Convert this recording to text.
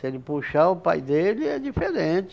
Se ele puxar o pai dele, é diferente.